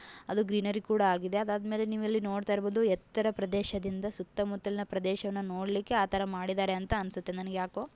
ಅದು ಗ್ರೀನರಿ ಕೂಡ ಆಗಿದೆ ಆಮೇಲೆ ನೀವು ಇಲ್ಲಿ ನೋಡ್ತಾ ಇರ್ಬಹುದು ಎತ್ತರ ಪ್ರದೇಶದಿಂದ ಸುತ್ತ ಮುತ್ತಲಿನ ಪ್ರದೇಶವನ್ನು ನೋಡ್ಲಿಕ್ಕೆ ಆಥರ ಮಾಡಿದಾರೆ ಅಂತ ಅನ್ಸುತ್ತೆ ನನಗ್ಯಾಕೋ.